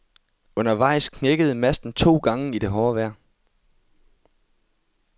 Undervejs knækkede masten to gange i det hårde vejr.